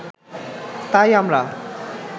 তাই আমরা